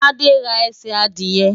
Tádé ra ẹsẹ̀ adìẹ.